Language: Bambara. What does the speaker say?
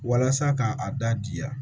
Walasa k'a a da diya